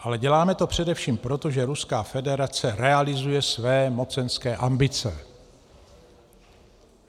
Ale děláme to především proto, že Ruská federace realizuje své mocenské ambice.